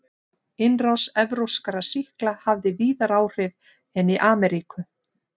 Innrás evrópskra sýkla hafði víðar áhrif en í Ameríku.